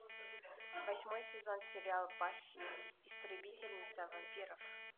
восьмой сезон сериал баффи истребительница вампиров